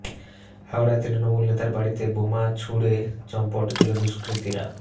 হাওড়ায় তৃণমূল নেতার বাড়িতে বোমা ছুড়ে চম্পট দিল দুষ্কৃতীরা